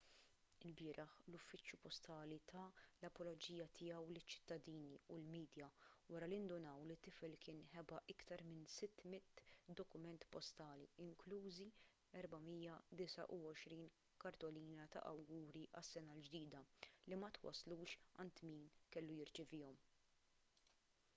ilbieraħ l-uffiċċju postali ta l-apoloġija tiegħu liċ-ċittadini u l-midja wara li ndunaw li t-tifel kien ħeba aktar minn 600 dokument postali inklużi 429 kartolina ta' awguri għas-sena l-ġdida li ma twasslux għand min kellu jirċevihom